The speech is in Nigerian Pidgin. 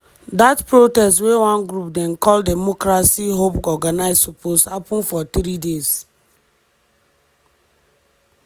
dat protest wey one group dem call democracy hub organise suppose happun for three days.